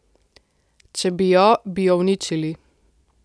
Če bi jo, bi jo uničili.